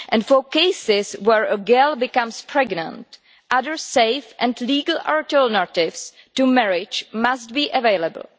For cases where a girl becomes pregnant, other safe and legal alternatives to marriage must be available.